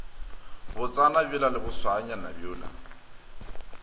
botsana bjola le bošwaanyana bjola